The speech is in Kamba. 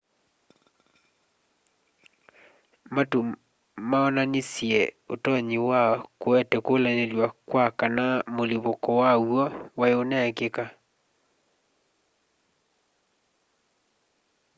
matu maonanisye utonyi wa kuete kulanilw'a kwa kana mũlipũko waw'o wai uneekika